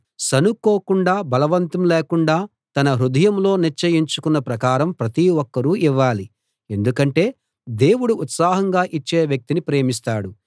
సణుక్కోకుండా బలవంతం లేకుండా తన హృదయంలో నిశ్చయించుకున్న ప్రకారం ప్రతి ఒక్కరూ ఇవ్వాలి ఎందుకంటే దేవుడు ఉత్సాహంగా ఇచ్చే వ్యక్తిని ప్రేమిస్తాడు